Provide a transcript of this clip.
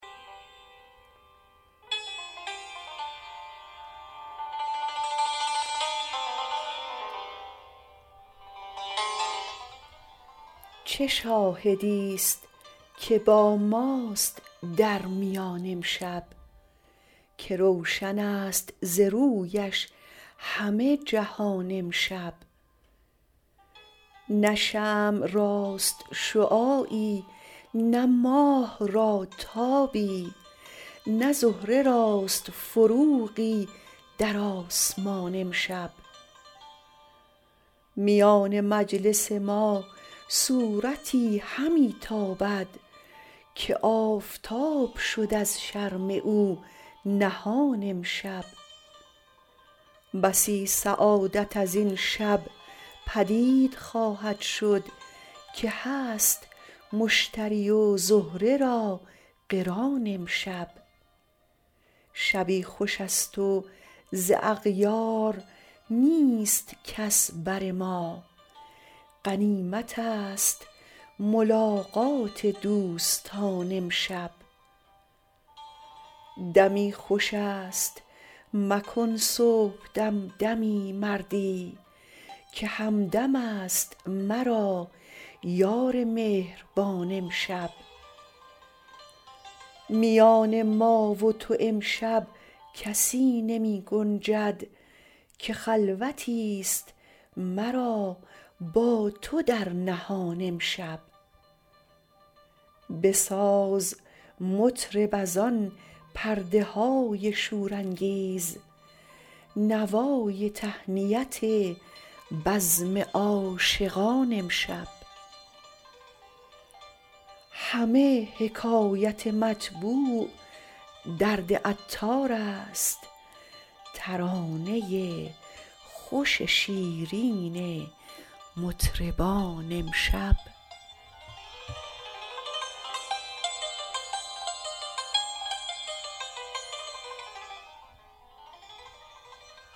چه شاهدی است که با ماست در میان امشب که روشن است ز رویش همه جهان امشب نه شمع راست شعاعی نه ماه را تابی نه زهره راست فروغی در آسمان امشب میان مجلس ما صورتی همی تابد که آفتاب شد از شرم او نهان امشب بسی سعادت از این شب پدید خواهد شد که هست مشتری و زهره را قران امشب شبی خوش است و ز اغیار نیست کس بر ما غنیمت است ملاقات دوستان امشب دمی خوش است مکن صبح دم دمی سردی که همدم است مرا یار مهربان امشب میان ما و تو امشب کسی نمی گنجد که خلوتی است مرا با تو در نهان امشب بساز مطرب از آن پرده های شور انگیز نوای تهنیت بزم عاشقان امشب همه حکایت مطبوع درد عطار است ترانه خوش شیرین مطربان امشب